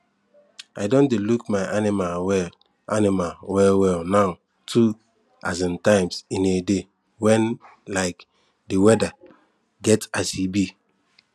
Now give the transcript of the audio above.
i don dey look my animal well animal well well now two um times in a day when um the weather get as e be